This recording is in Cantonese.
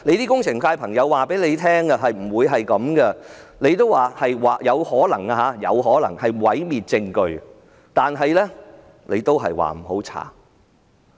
工程界的人士告訴她不會這樣，她說"有可能"是毀滅證據，但卻說不要調查。